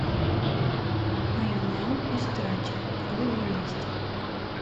айонел истрати кто я есть